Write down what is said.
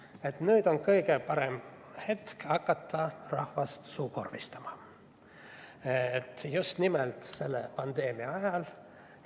Sellega, et nüüd on kõige parem hetk hakata rahvast suukorvistama, just nimelt selle pandeemia ajal.